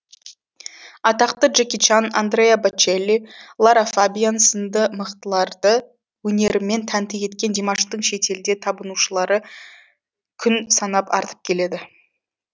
атақты джеки чан андреа бочелли лара фабиан сынды мықтыларды өнерімен тәнті еткен димаштың шетелде табынушылары күн санап артып келеді